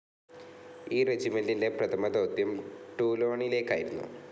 ഈ റെജിമെന്റിന്റെ പ്രഥമദൗത്യം ടൂലോണിലേക്കായിരുന്നു.